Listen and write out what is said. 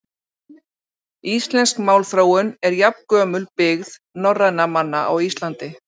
Íslensk málþróun er jafngömul byggð norrænna manna á Íslandi.